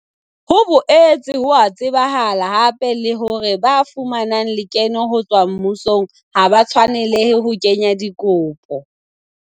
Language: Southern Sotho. Ho boetse ho a tsebahala hape le hore ba fumanang lekeno ho tswa mmusong ha ba tshwanelehe ho kenya dikopo.